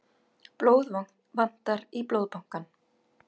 Blóð vantar í Blóðbankann